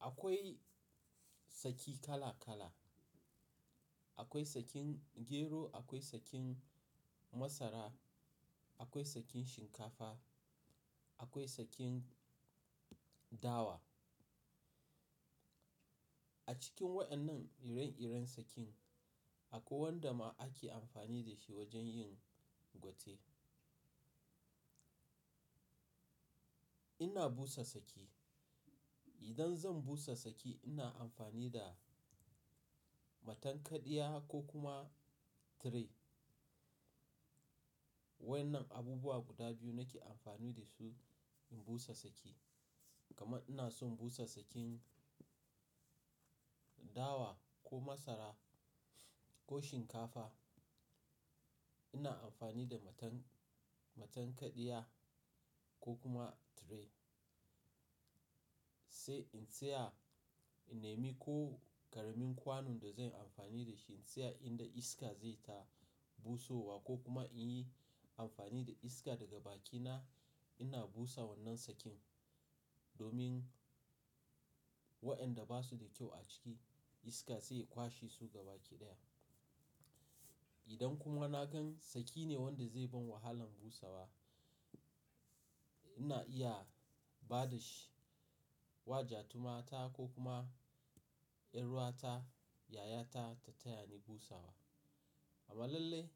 Akwai saki kala kala. Akwai sakin gero, akwai sakin masara, akwai sakin shinkafa, akwai sakin dawa. A cikin wa'annan ire-iren sakin, akwai wanda ma ake amfani da shi wajen yin gwate. Ina busa saki. Idan zan busa saki, ina amfani da matankaɗiya ko kuma tray. Waƴannan abubuwa guda biyu nake amfani da su in busa saki. Kamar ina son busa sakin dawa ko masara ko shinkafa, ina amfani da matan-matankaɗiya ko kuma tray. Sai in tsaya, in nemi ko karamin kwanon da zan yi amfani da shi in tsaya inda iska zai ta busowa ko kuma in yi amfani da iska daga bakina. Ina busa wannan sakin domin waƴanda ba su da kyau a ciki iska sai ya kwashe su gabaki ɗaya. Idan kuma na gan sakine wanda zai ban wahalan busawa, ina iya ba da shi wa ja tu mata ko kuma 'yar'uwata, yayata ta taya ni busawa. Amalalle